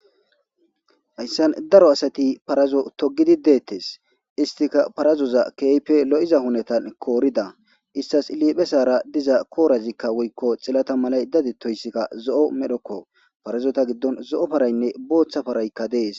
Hayssan daro asati parazo togidi deettes istika parazoza keype lo7iza hunetan koorida istas iliphe saara diza koorazikka woykko xillata malay dadi toyssikka zo7o medhokko parazota giddon zo7o paraynne booththa paraykka dees